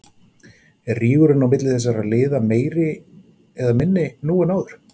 Er rígurinn á milli þessara lið meiri eða minni nú en áður?